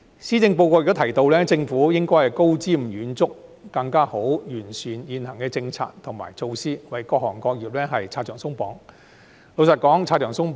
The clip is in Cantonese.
施政報告亦提到政府應高瞻遠矚，更好地完善現行的政策及措施，為各行各業拆牆鬆綁。